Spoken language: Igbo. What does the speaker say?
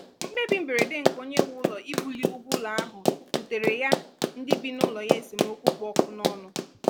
mkpebi mberede nke onye nwe ụlọ ibuli ụgwọ ụlọ ahụ buteere ya ndị bị n'ụlọ ya esemokwu kpụ ọkụ n'ọnụ